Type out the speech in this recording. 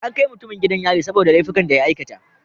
An kai mutumin gidan yari saboda laifukan da ya aikata.